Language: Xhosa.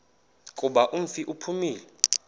kuba umfi uphumile